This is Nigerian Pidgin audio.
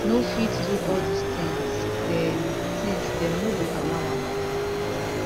no fit do all dis tins dem tins dem no go allow am